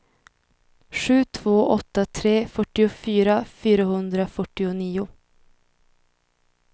sju två åtta tre fyrtiofyra fyrahundrafyrtionio